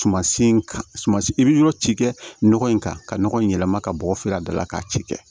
Sumasi in ka suma i bɛ yɔrɔ ci kɛ nɔgɔ in kan ka nɔgɔ in yɛlɛma ka bɔ feere dɔ la k'a ci kɛ